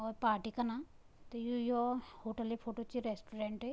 और पार्टी कना त यु यौ होटल की फोटो च रेस्टोरेंट ।